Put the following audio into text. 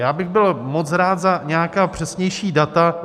Já bych byl moc rád za nějaká přesnější data.